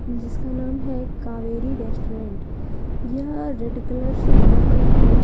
जिसका नाम है कावेरी रेस्टोरेंट यह रेड कलर से बना हुआ है।